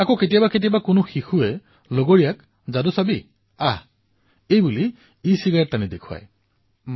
আৰু কেতিয়াবা কেতিয়াবাতো যাদু দেখুৱাইছো বুলি কৈ এটা শিশুৱে আন এটা শিশুক দেখুৱাবলৈ ধৰে